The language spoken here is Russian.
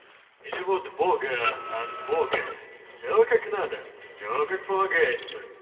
или вот в бога от бога все как надо все как полагается